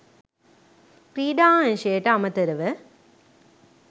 ක්‍රීඩා අංශයට අමතරව